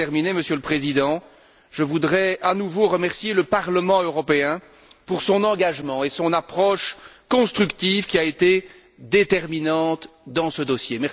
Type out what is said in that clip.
Pour terminer, Monsieur le Président, je voudrais à nouveau remercier le Parlement européen pour son engagement et son approche constructive, qui a été déterminante dans ce dossier.